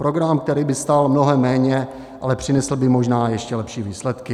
Program, který by stál mnohem méně, ale přinesl by možná ještě lepší výsledky.